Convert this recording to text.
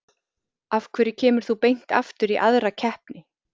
Af hverju kemur þú beint aftur í aðra keppni?